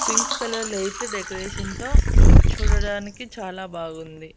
Pink colour lights decoration తో చూడడానికి చాలా బాగుంది.